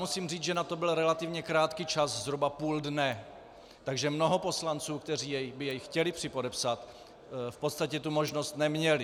Musím říct, že na to byl relativně krátký čas, zhruba půl dne, takže mnoho poslanců, kteří by jej chtěli připodepsat, v podstatě tu možnost neměli.